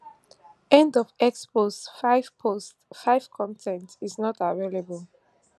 end of x post five post five con ten t is not available